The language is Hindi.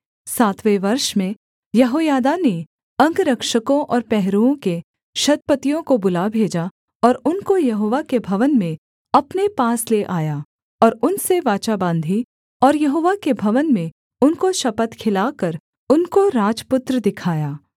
सातवें वर्ष में यहोयादा ने अंगरक्षकों और पहरुओं के शतपतियों को बुला भेजा और उनको यहोवा के भवन में अपने पास ले आया और उनसे वाचा बाँधी और यहोवा के भवन में उनको शपथ खिलाकर उनको राजपुत्र दिखाया